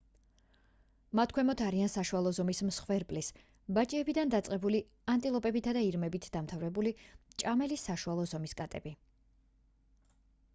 მათ ქვემოთ არიან საშუალო ზომის მსხვერპლის ბაჭიებიდან დაწყებული ანტილოპებითა და ირმებით დამთავრებული მჭამელი საშუალო ზომის კატები